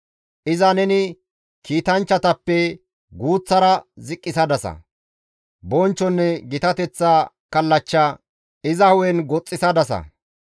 Iza neni kiitanchchatappe guuththara ziqqisadasa; bonchchonne gitateththa kallachcha iza hu7en goxxisadasa.